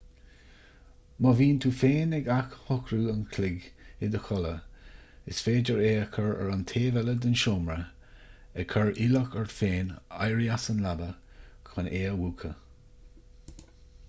má bhíonn tú féin ag athshocrú an chloig i do chodladh is féidir é a chur ar an taobh eile den seomra ag cur iallach ort féin éirí as an leaba chun é a mhúchadh